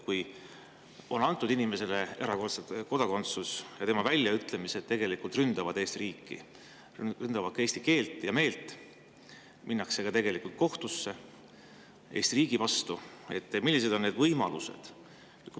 Kui inimesele on antud kodakondsus ja ta ründab oma väljaütlemistes Eesti riiki, eesti keelt ja meelt ning ta läheb ka Eesti riigi vastu kohtusse, siis millised on võimalused?